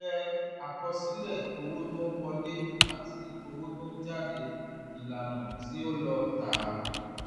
ìpìlẹ̀ àkọsílẹ̀ owó tó ń wọlé àti owó tó ń jáde (ìlànà tí ó lọ tààrà).